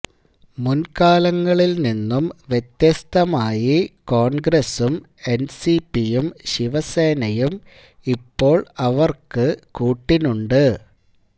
മുന്കാലങ്ങളില് നിന്നും വ്യത്യസ്തമായി കോണ്ഗ്രസ്യം എന്സിപിയും ശിവസേനയും ഇപ്പോള് ഇവര്ക്ക് കൂട്ടിനുണ്ട്